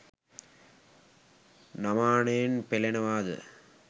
නමානයෙන් පෙලෙනවා ද?